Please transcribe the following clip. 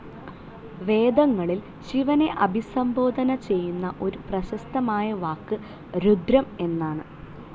വേദങ്ങളിൽ ശിവനെ അഭിസംബോധന ചെയ്യുന്ന ഒരു പ്രശസ്തമായ വാക്ക് രുദ്രം എന്നാണ്.